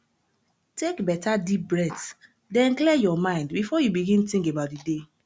take beta deep breathe den clear yur mind bifor yu begin tink about di day